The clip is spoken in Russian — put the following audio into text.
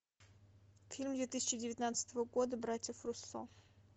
фильм две тысячи девятнадцатого года братьев руссо